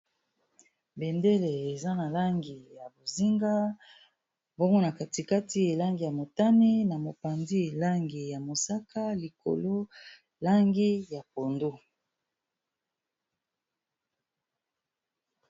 bendele eza na langi ya bozinga mbongona katikati elangi ya motami na mopandi elangi ya mosaka likolo langi ya pondo